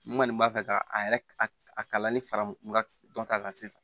N kɔni b'a fɛ ka a yɛrɛ a kalali fara n ka dɔnta kan sisan